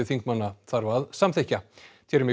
þingmanna þarf að samþykkja